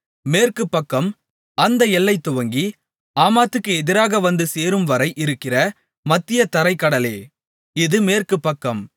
மேற்கு பக்கம் அந்த எல்லை துவங்கி ஆமாத்துக்கு எதிராக வந்து சேரும்வரை இருக்கிற மத்திய தரைக் கடலே இது மேற்கு பக்கம்